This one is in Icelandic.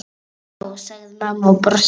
Já, sagði mamma og brosti.